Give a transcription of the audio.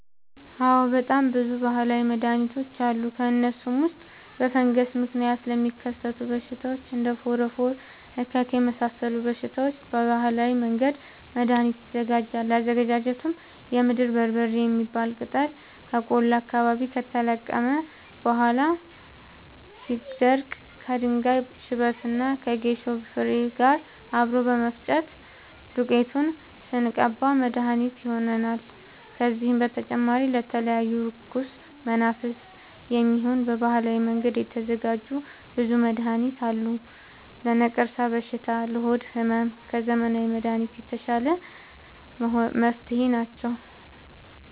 አዎድ በጣም ብዙ በሀላዊ መድሀኒቶች አሉ ከእነሱም ውስጥ በፈንገስ ምክንያት ለሚከሰቱ በሽታዎች እንደ ፎረፎር እከክ የመሳሰሉ በሽታዎች በባህላዊ መንገድ መድሀኒት ይዘጋጃል አዘገጃጀቱም የምድር በርበሬ የሚባል ቅጠል ከቆላ አካባቢ ከተለቀመ በኋላ ሲደርዳ ከድንጋይ ሽበት እና ከጌሾ ፋሬ ጋር አብሮ በመፈጨት ዱቄቱን ስንቀባ መድሀኒት መድሀኒት ይሆነናል። ከዚህም በተጨማሪ ለተለያዩ እርኩስ መናፍት፣ የሚሆን በባህላዊ መንገድ የተዘጋጀ ብዙ መድሀኒት አለ። ለነቀርሻ በሽታ ለሆድ ህመም ከዘመናዊ መንገድ የተሻለ መፍትሄ አላቸው።